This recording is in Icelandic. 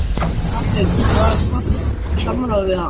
Hafsteinn: Var haft samráð við hann?